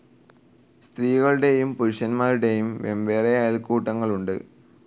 സ്ത്രീകളുടേയും പുരുഷൻമാരുടേയും വെവ്വേറെ അയൽക്കൂട്ടങ്ങളുണ്ട്.